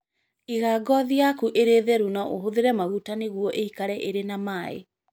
Iga ngoothi yaku ĩrĩ theru na ũhũthĩre maguta nĩguo ĩikare ĩrĩ na maaĩ.